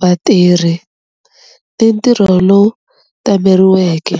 vatirhi, ni ntirho lowu tameriweke.